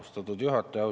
Austatud juhataja!